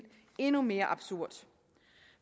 endnu mere absurd